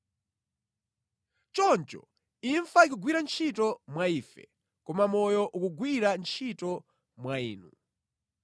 Choncho imfa ikugwira ntchito mwa ife, koma moyo ukugwira ntchito mwa inu.